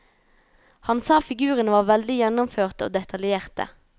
Han sa figurene var veldig gjennomførte og detaljerte.